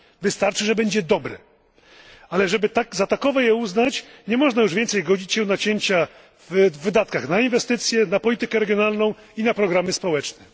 Wystarczy, że będzie dobre, ale żeby za takowe je uznać nie można już więcej godzić się na cięcia w wydatkach na inwestycje, na politykę regionalną i na programy społeczne.